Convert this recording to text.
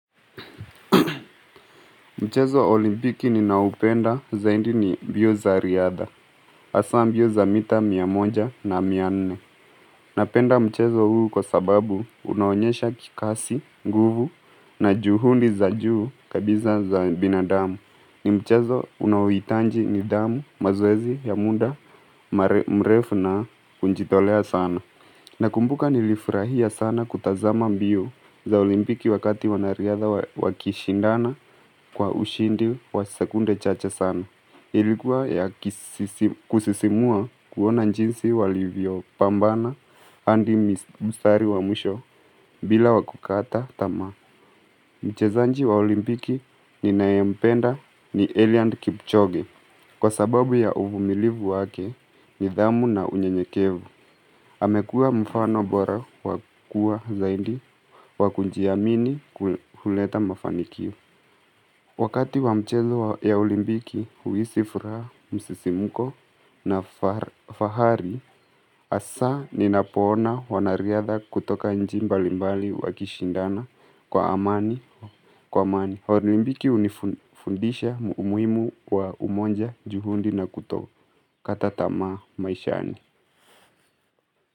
Mchezo wa olimpiki ninaopenda zaidi ni mbio za riadha, hasa mbio za mita mia moja na mia nne. Napenda mchezo huu kwa sababu unaonyesha kikasi, nguvu na juhudi za juu kabisa za binadamu. Ni mchezo unaohitaji nidhamu mazeezi ya muda mrefu na kujitolea sana. Nakumbuka nilifurahia sana kutazama mbio za olimpiki wakati wanariadha wakishindana kwa ushindi wa sekunde chacha sana. Ilikuwa ya kusisimua kuona jinsi walivyo pambana andi mstari amwisho bila wa kukata tama. Mchezaji wa olimpiki ninayempenda ni Eliud kipchoge kwa sababu ya uvumilivu wake nidhamu na unye nyekevu. Amekua mfano bora wakua zaidi waku jiamini kuhuleta mafanikio. Wakati wa mchezo ya olimbiki huhisi furaha msisimuko na fahari, hasa ninapona wanariadha kutoka nchi mbalimbali wakishindana kwa amani. Olimpiki hunifundisha umuhimu wa umoja juhudi na kutokataa tamaa maishani.